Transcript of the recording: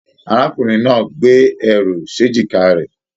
Arákùnrin náà gbé ẹrù s'ejika rẹ.